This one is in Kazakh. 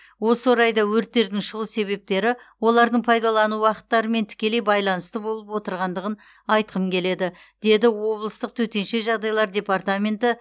осы орайда өрттердің шығу себептері олардың пайдалану уақыттарымен тікелей байланысты болып отырғандығын айтқым келеді дейді облыстық төтенше жағдайлар департаменті